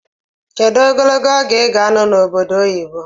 Kedu ogologo oge iga anọ na obodo oyibo?